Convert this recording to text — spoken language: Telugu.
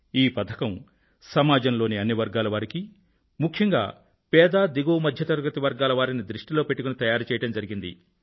ఈ పథకం సమాజంలోని అన్ని వర్గాల వారికీ ముఖ్యంగా పేద మరియు దిగువ మధ్య తరగతి వర్గాలవారిని దృష్టిలో పెట్టుకుని తయారుచేయడం జరిగింది